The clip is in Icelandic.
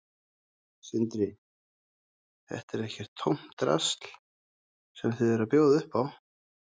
Sindri: Þetta er ekkert tómt drasl sem þið eruð að bjóða upp á?